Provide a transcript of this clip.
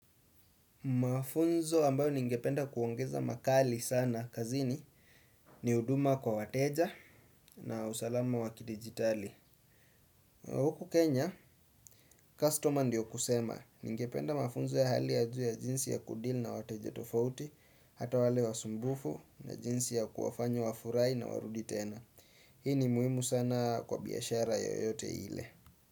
Mafunzo ambayo ningependa kuongeza makali sana kazini ni uduma kwa wateja na usalama wa kidigitali. Huku Kenya, customer ndiyo kusema. Ningependa mafunzo ya hali ya juu ya jinsi ya kudeal na wateja tofauti. Hata wale wasumbufu na jinsi ya kuwafanya wafurahi na warudi tena. Hii ni muhimu sana kwa biashara yoyote ile.